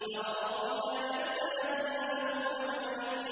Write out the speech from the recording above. فَوَرَبِّكَ لَنَسْأَلَنَّهُمْ أَجْمَعِينَ